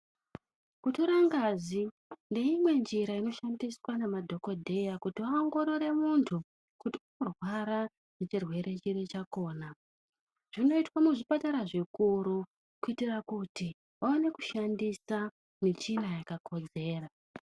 Kutora ngazi neimwenjira inoshandiswa nemadhogodheya kuti vaongorore muntu kuti varwara nechirwere chiri chakona. Zvinoitwa muzvipatara zvikuru kuitira kuti vaone kushandisa michina yakakodzera.